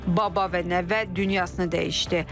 Baba və nəvə dünyasını dəyişdi.